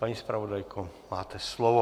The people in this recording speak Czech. Paní zpravodajko, máte slovo.